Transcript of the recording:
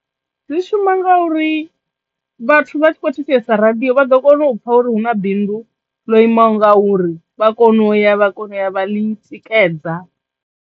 Dzi shuma ngauri vhathu vha tshi kho thetshelesa radiyo vha ḓo kona u pfha uri hu na bindu ḽo imaho nga uri vha kono ya vha kono u ya vha ḽi tikedza.